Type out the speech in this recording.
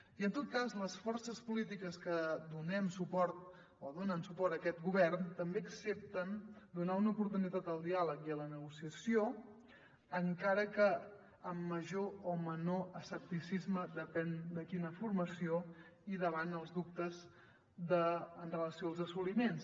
i en tot cas les forces polítiques que donem suport o donen suport a aquest govern també accepten donar una oportunitat al diàleg i a la negociació encara que amb major o menor escepticisme depèn de quina formació i davant els dubtes en relació amb els assoliments